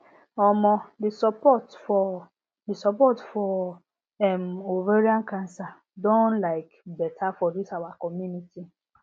um the support for the support for um ovarian cancer don like better for this our community